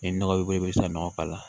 Ni nɔgɔ b'i bolo i bɛ se ka nɔgɔ k'a la